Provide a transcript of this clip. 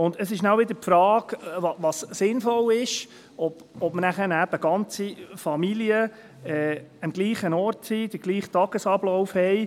Es stellt sich wieder die Frage, was sinnvoll ist: ob ganze Familien an einem Ort sind, den gleichen Tagesablauf haben.